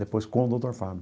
Depois com o doutor Fábio.